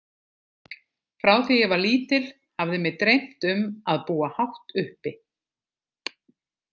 Frá því ég var lítil hafði mig dreymt um að búa hátt uppi.